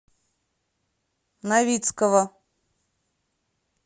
новицкого